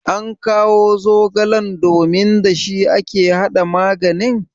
ankawo zogalen domin da shi ake hada maganin?